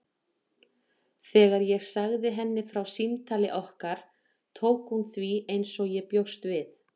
Þegar ég sagði henni frá samtali okkar tók hún því eins og ég bjóst við.